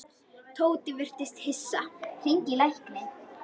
Tóti virtist hissa.